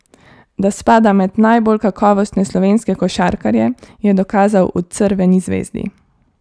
Da spada med najbolj kakovostne slovenske košarkarje, je dokazal v Crveni zvezdi.